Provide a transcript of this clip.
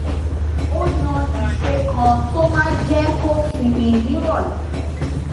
ó yan ìṣe kan tó máa jé kó sinmi níròlé